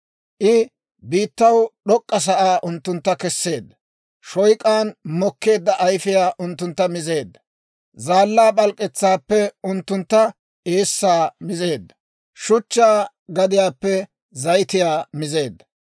I biittaw d'ok'k'a sa'aa unttuntta kesseedda. Shoyk'an mokkeedda ayfiyaa unttuntta mizeedda. Zaallaa p'alk'k'etsaappe unttuntta eessaa mizeedda; shuchchaa gadiyaappe zayitiyaa mizeedda.